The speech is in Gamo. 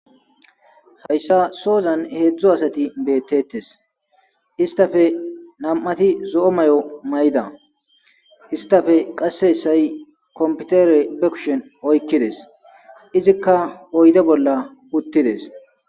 Hayssa soozan heedzdzo asati beettetes istafe nam7ati zo7o may7o may7da istafe qasse essay kompitere be kushen oykkides izikka oyde bolla uttides.